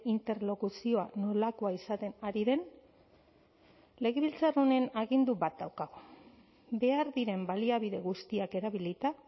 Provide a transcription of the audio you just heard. interlokuzioa nolakoa izaten ari den legebiltzar honen agindu bat daukagu behar diren baliabide guztiak erabilita